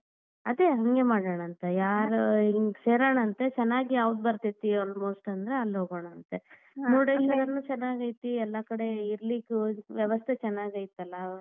ಅದೇ ಹಂಗೆ ಮಾಡೋಣಾಂತ ಯಾರ್ ಹಿಂಗ್ ಸೇರೋಣಾಂತೆ ಚನ್ನಾಗಿ ಯಾವ್ದ್ ಬರ್ತೇತಿ almost ಅಂದ್ರ ಅಲ್ಲೇ ಹೋಗೋಣಂತೆ ಚೆನ್ನಾಗೈತಿ ಎಲ್ಲಾ ಕಡೆ ಇರ್ಲಿಕ್ ವ್ಯವಸ್ಥೆ ಚೆನ್ನಾಗೈತಲ್ಲಾ.